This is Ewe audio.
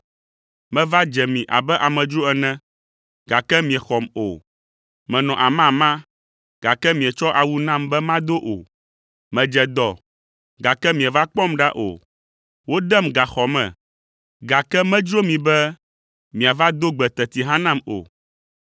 Meva dze mi abe amedzro ene, gake miexɔm o, menɔ amama, gake mietsɔ awu nam be mado o, medze dɔ, gake mieva kpɔm ɖa o, wodem gaxɔ me, gake medzro mi be miava do gbe teti hã nam o.’